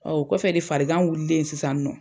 Ɔ o kɔfɛ de farikan wililen sisan nɔ